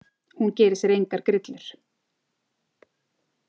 Hún gerir sér engar grillur.